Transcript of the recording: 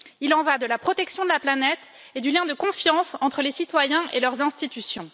Il y va de la protection de la planète et du lien de confiance entre les citoyens et leurs institutions.